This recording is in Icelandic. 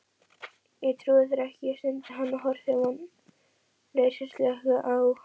Ég trúi þér ekki, stundi hann og horfði vonleysislega á